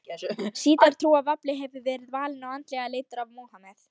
Sjítar trúa að Ali hafi verið valinn og andlega leiddur af Múhameð.